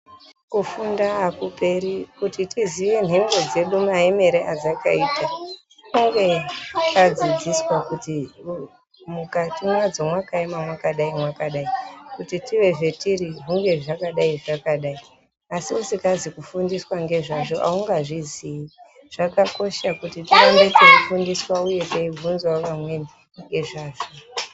Kufunda akuoeri kuti tiziye nhoroondo dzedu maemero adzakaita tinenge tadzidziswa kuti mukati mwadzo mwakaema mwakadai mwakadai kuti tinge zvetiri hunge zvakadai zvakadai asi isingazi kufundiswa ngezvazvo aungazvizii zvakakosha kuti tirambe yeifundiswa uye teivhinzawo vamweni ngezvazvo.